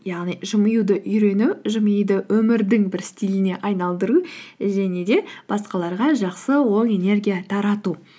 яғни жымиюды үйрену жымиюды өмірдің бір стиліне айналдыру және де басқаларға жақсы ой энергия тарату